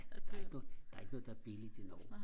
der er ikke noget der er ikke noget der er billigt i Norge